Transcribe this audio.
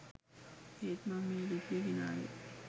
ඒත් මම මේ ලිපිය ගෙනාවේ